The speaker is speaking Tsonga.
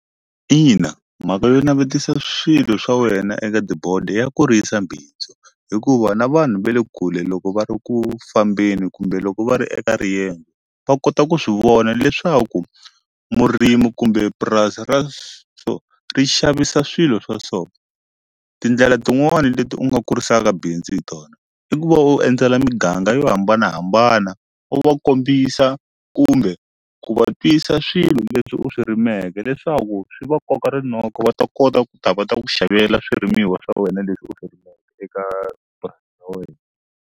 Ina mhaka yo navetisa swilo swa wena eka tibodi ya kurisa bindzu hikuva na vanhu va le kule loko va ri ku fambeni kumbe loko va ri eka riyendzo va kota ku swi vona leswaku murimu kumbe purasi ra ri xavisa swilo swa so tindlela tin'wani leti u nga kurisaka bindzu hi tona i ku va u endzela miganga yo hambanahambana u va kombisa kumbe ku va twisa swilo leswi u swi rimeke leswaku swi va koka rinoko va ta kota ku ta va ta ku xavela swirimiwa swa wena leswi u swi eka purasi ra wena.